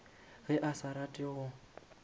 ge a sa rate go